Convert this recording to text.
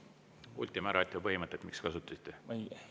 Ultima ratio põhimõtet miks kasutasite?